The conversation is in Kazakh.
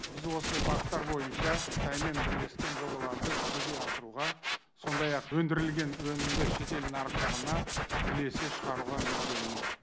біз осы бағыттар бойынша қытаймен бірлескен жобаларды жүзеге асыруға сондай ақ өндірілген өнімді шетел нарықтарына бірлесе шығаруға мүдделіміз